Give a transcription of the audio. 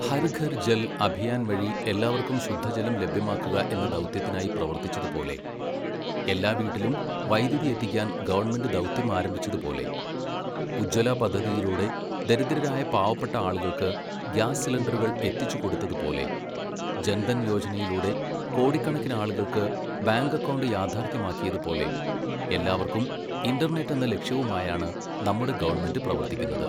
ഹർഘർ ജൽ അഭിയാൻ വഴി എല്ലാവർക്കും ശുദ്ധജലം ലഭ്യമാക്കുക എന്ന ദൗത്യത്തിനായി പ്രവർത്തിച്ചതുപോലെ, എല്ലാ വീട്ടിലും വൈദ്യുതി എത്തിക്കാൻ ഗവണ്മെന്റ് ദൗത്യം ആരംഭിച്ചതുപോലെ, ഉജ്ജ്വല പദ്ധതിയിലൂടെ ദരിദ്രരായ പാവപ്പെട്ട ആളുകൾക്ക് ഗ്യാസ് സിലിണ്ടറുകൾ എത്തിച്ചുകൊടുത്തതുപോലെ, ജന്ധൻ യോജനയിലൂടെ കോടിക്കണക്കിന് ആളുകൾക്ക് ബാങ്ക് അക്കൗണ്ട് യാഥാർഥ്യമാക്കിയതുപോലെ, എല്ലാവർക്കും ഇന്റർനെറ്റ് എന്ന ലക്ഷ്യവുമായാണ് നമ്മുടെ ഗവണ്മെന്റ് പ്രവർത്തിക്കുന്നത്.